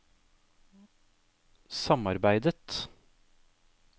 samarbeidet